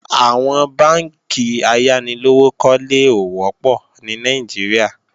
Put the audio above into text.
Àwọn bánkì ayánilówókọ́lé ò wọ́pọ̀ ní Nàìjíríà